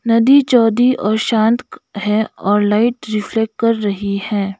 नदी और शांत है और लाइट रिफ्लेक्ट कर रही है।